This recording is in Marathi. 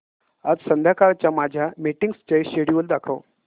आज संध्याकाळच्या माझ्या मीटिंग्सचे शेड्यूल दाखव